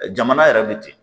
Jamana yɛrɛ bi ten